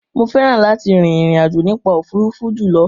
Mo fẹ́ràn láti rin ìrìn àjò nípa òfuurufú jùlọ.